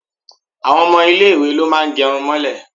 Àwọn ọmọ ilé ìwé ló máa ń gẹrun mọ́lẹ̀.